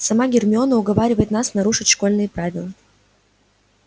сама гермиона уговаривает нас нарушить школьные правила